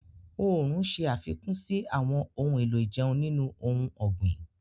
Oòrùn ṣe àfikún sí àwọn ohun èlò ìjẹun nínú ohun ọ̀gbìn.